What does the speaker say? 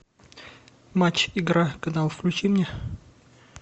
матч игра канал включи мне